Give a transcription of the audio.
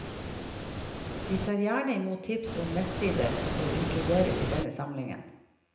Vi tar gjerne imot tips om nettsider som bør inkluderes i denne samlingen.